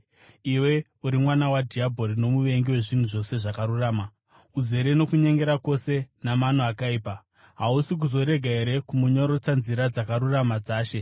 “Iwe uri mwana wadhiabhori nomuvengi wezvinhu zvose zvakarurama! Uzere nokunyengera kwose namano akaipa. Hausi kuzorega here kumonyorotsa nzira dzakarurama dzaShe?